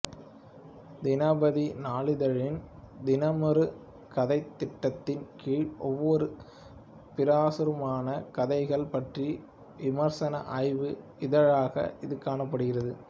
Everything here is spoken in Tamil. தினபதி நாளிதழின் தினமொரு கதைத் திட்டத்தின் கீழ் ஒவ்வொரு பிரசுரமான கதைகள் பற்றிய விமர்சன ஆய்வு இதழாக இது காணப்படுகின்றது